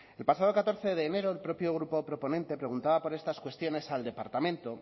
el pasado catorce de enero el propio grupo proponente preguntaba por estas cuestiones al departamento